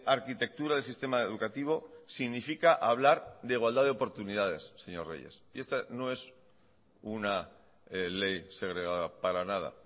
arquitectura del sistema educativo significa hablar de igualdad de oportunidades señor reyes y esta no es una ley segregada para nada